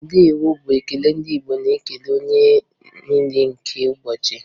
Ndeewo' bụ ekele ndị Igbo na-ekele oge niile nke ụbọchị